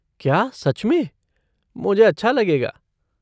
क्या सच में? मुझे अच्छा लगेगा।